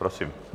Prosím.